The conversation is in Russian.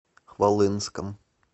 хвалынском